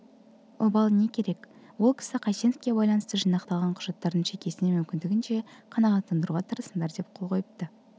обалы не керек ол кісі қайсеновке байланысты жинақталған құжаттардың шекесіне мүмкіндігінше қанағаттандыруға тырысыңдар деп қол қойыпты